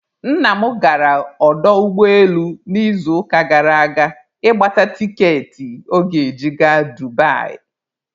Nna m gara ọdọ ụgbọelu n'izuụka gara aga ịgbata tikeetị ọ ga-eji gaa Dubai.